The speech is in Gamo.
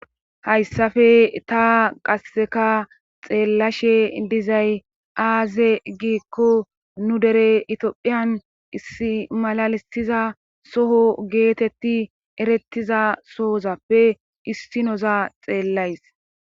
Hayssafe ta qasseka xeellashe dizay aaze giikko nu dere itiphiyan issi malalisiza soho geetetti erettiza soozappe issinoza xeellays..